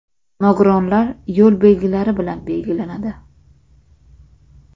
Nogironlar” yo‘l belgilari bilan belgilanadi.